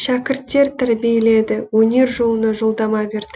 шәкірттер тәрбиеледі өнер жолына жолдама берді